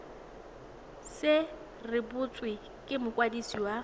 se rebotswe ke mokwadisi wa